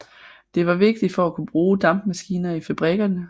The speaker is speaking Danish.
Det var vigtigt for at kunne bruge dampmaskiner i fabrikkerne